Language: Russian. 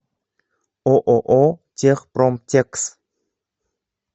ооо техпромтекс